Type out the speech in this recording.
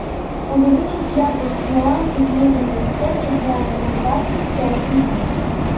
увеличить яркость на лампе в мебельной стенке в зале на двадцать пять минут